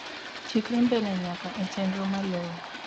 chikri mbele nyake e chenro malue